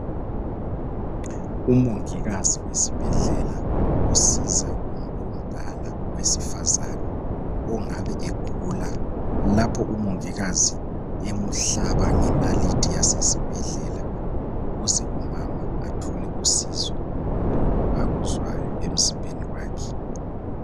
Umongikazi wesibhendlela osiza umuntu omdala wesifazana ongabe egula lapha umongikazi emuhlaba ngenalithi yasesibhendlela ukuze umama athole usizo kulokhu akuzwayo emzimbeni wakhe.